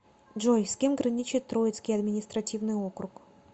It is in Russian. джой с кем граничит троицкий административный округ